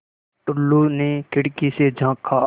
टुल्लु ने खिड़की से झाँका